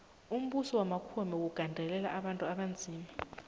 umbuso wamakhuwa bewugandelela abantu abanzima